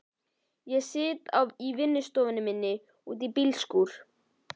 Ég sit í vinnustofunni minni úti í bílskúr.